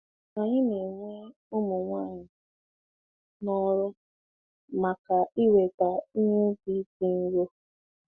Anyị na-ewe ụmụ nwanyị n'ọrụ maka iweta ihe ubi dị nro.